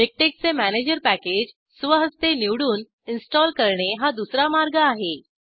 MiKTeX चे manager package स्वहस्ते निवडून इंस्टॉल करणे हा दूसरा मार्ग आहे